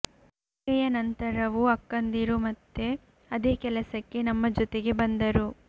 ಮದುವೆಯ ನಂತರವೂ ಅಕ್ಕಂದಿರು ಮತ್ತೆ ಅದೇ ಕೆಲಸಕ್ಕೆ ನಮ್ಮ ಜೊತೆಗೆ ಬಂದರೂ